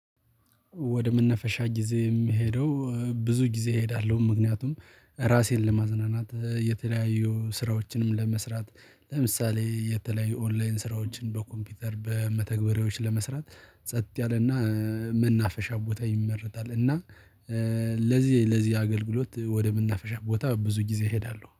ወደ መነፈሻ ጊዜ የምሄደው ብዙ ጊዜ እሄዳለሁ ምክንያቱም ራሴን ለማዝናናት የተለያዩ ስራዎችንም ለመስራት ለምሳሌ የተለያዩ ኦንላይን ስራዎችን በኮምፒውተር በመተግበሪያዎች ለመስራት ጸጥ ያለና መናፈሻ ቦታ ይመረጣል። እና ለዚህ ለዚህ አገልግሎት ወደ መናፍሻ ቦታ ብዙ ጊዜ እሄዳለሁ